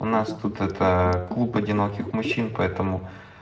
у нас тут это клуб одиноких мужчин поэтому